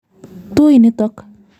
Tui nitok.